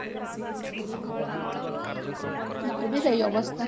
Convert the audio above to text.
ମୋର ବି ସେଇ ଅବସ୍ତା